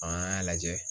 An y'a lajɛ